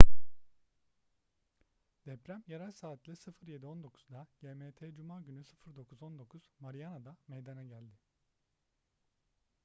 deprem yerel saatle 07:19'da gmt cuma günü 09:19 mariana'da meydana geldi